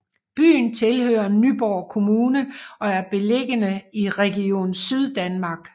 Byen tilhører Nyborg Kommune og er beliggende i Region Syddanmark